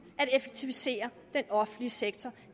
at effektivisere den offentlige sektor